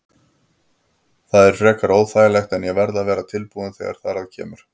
Það er frekar óþægilegt en ég verð að vera tilbúinn þegar þar að kemur.